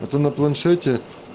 а то на планшете